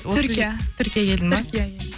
түркия түркия елі ма түркия елі